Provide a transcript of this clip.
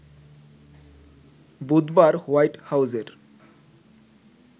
বুধবার হোয়াইট হাউজের